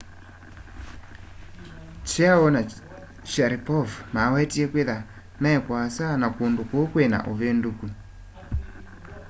chiao na sharipov mawetie kwĩtha me kũasa na kũndũ kũũ kwĩna ũvĩndũkũ